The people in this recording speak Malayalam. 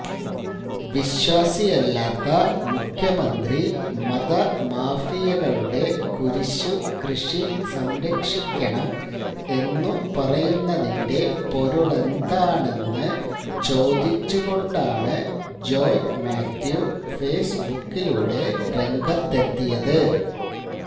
വിശ്വാസിയല്ലാത്ത മുഖ്യമന്ത്രി മതമാഫിയകളുടെ കുരിശു കൃഷി സംരക്ഷിക്കണം എന്നു പറയുന്നതിന്റെ പൊരുളെന്താണെന്നു ചോദിച്ചുകൊണ്ടാണ് ജോയ് മാത്യു ഫേസ്ബുക്കിലൂടെ രംഗത്തെത്തിയത്